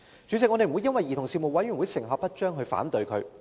主席，我不會因為兒童事務委員會可能成效不彰而反對它。